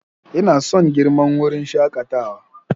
Ina son girman wurin shakatawa.